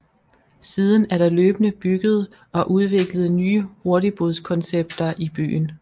Siden er der løbende bygget og udviklet nye hurtigbådskoncepter i byen